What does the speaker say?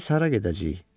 Biz hara gedəcəyik?